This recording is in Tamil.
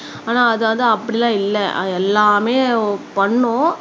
ஆனா அது வந்து அப்படி எல்லாம் இல்லை எல்லாமே பண்ணும்